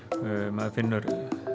maður finnur